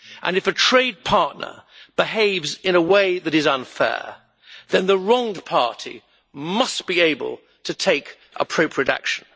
If a trade partner behaves in a way that is unfair, then the wronged party must be able to take appropriate action.